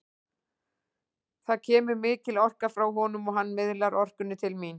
Það kemur mikil orka frá honum og hann miðlar orkunni til mín.